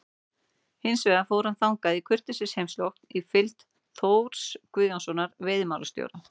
Hins vegar fór hann þangað í kurteisisheimsókn í fylgd Þórs Guðjónssonar veiðimálastjóra.